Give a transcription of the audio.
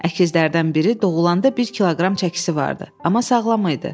Əkizlərdən biri doğulanda bir kiloqram çəkisi vardı, amma sağlam idi.